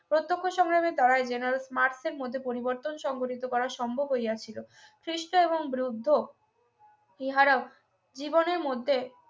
প্রত্যক্ষ সংগ্রামী Dyer general রাত্রের মধ্যে পরিবর্তন সংগঠিত করা সম্ভব হইয়াছিল খ্রীষ্ট এবং বুদ্ধ ইহারা জীবনের মধ্যে